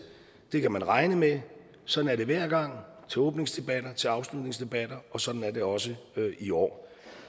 kan man regne med sådan er det hver gang til åbningsdebatter til afslutningsdebatter og sådan er det også i år